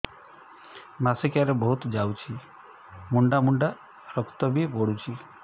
ମାସିକିଆ ରେ ବହୁତ ଯାଉଛି ମୁଣ୍ଡା ମୁଣ୍ଡା ରକ୍ତ ବି ପଡୁଛି